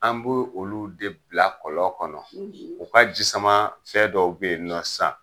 An be olu de bila kɔlɔn kɔnɔ ,u ka jisama fɛ dɔw be yen nɔ sisan